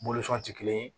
ti kelen ye